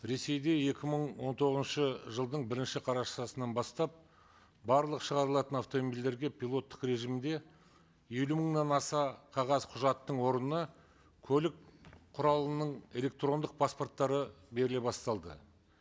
ресейде екі мың он тоғызыншы жылдың бірінші қарашасынан бастап барлық шығарылатын автомобильдерге пилоттық режимде елу мыңнан аса қағаз құжаттың орнына көлік құралының электрондық паспорттары беріле басталды